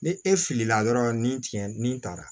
Ni e filila dɔrɔn ni tigɛ nin taara